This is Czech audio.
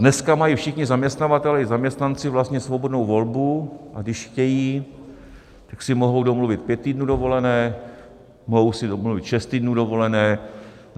Dneska mají všichni zaměstnavatelé i zaměstnanci vlastně svobodnou volbu, a když chtějí, tak si mohou domluvit pět týdnů dovolené, mohou si domluvit šest týdnů dovolené.